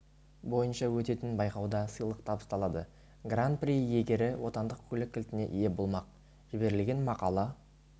бойынша өтетін байқауда сыйлық табысталады гран при иегері отандық көлік кілтіне ие болмақ жіберілген мақала